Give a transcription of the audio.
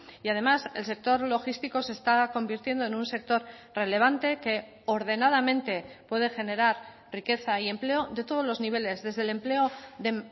y además el sector logístico se está convirtiendo en un sector relevante que ordenadamente puede generar riqueza y empleo de todos los niveles desde el empleo de